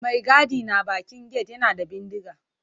Mai gadi na bakin gate yana da bindiga.